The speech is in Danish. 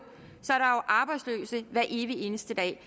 arbejdsløse hver evig eneste dag